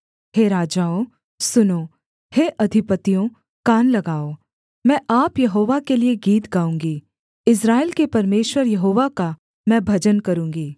हे राजाओं सुनो हे अधिपतियों कान लगाओ मैं आप यहोवा के लिये गीत गाऊँगी इस्राएल के परमेश्वर यहोवा का मैं भजन करूँगी